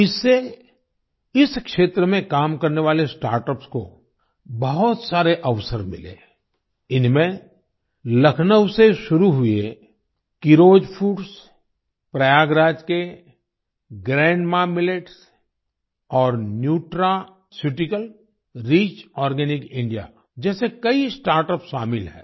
इससे इस क्षेत्र में काम करने वाले स्टार्टअप्स को बहुत सारे अवसर मिले हैं इनमें लखनऊ से शुरू हुए कीरोज फूड्स प्रयागराज के ग्रैंडमा मिलेट्स और न्यूट्रास्यूटिकल रिच आर्गेनिक इंडिया जैसे कई स्टार्टअप शामिल हैं